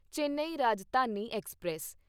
Chennai Rajdhani express